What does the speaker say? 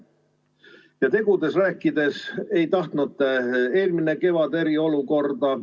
Kui tegudest rääkida, siis te ei tahtnud eelmine kevad eriolukorda.